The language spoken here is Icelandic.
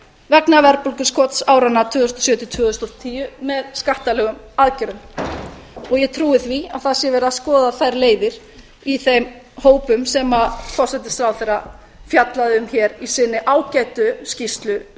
vegna verðbólguskots áranna tvö þúsund og sjö til tvö þúsund og tíu með skattalegum aðgerðum og ég trúi því að það sé verið að skoða þær leiðir í þeim hópum sem forsætisráðherra fjallaði um hér í sinni ágætu skýrslu um